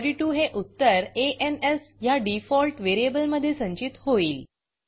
42 हे उत्तर आ न् स् ह्या डिफॉल्ट व्हेरिएबलमधे संचित होईल